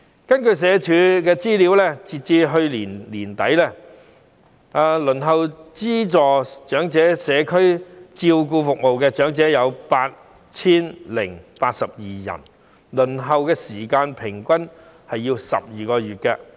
根據社會福利署的資料顯示，截至去年年底，輪候資助長者社區照顧服務的長者有 8,082 人，平均輪候時間為12個月。